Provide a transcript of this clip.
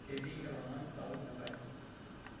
Ketii ewang'an sapuk enkaji.